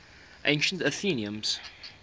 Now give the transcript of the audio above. ancient athenians